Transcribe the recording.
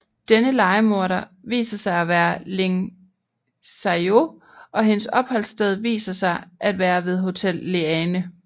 Denne lejemorder viser sig at være Ling Xiaoyu og hendes opholdssted viser sig at være ved Hotel Leane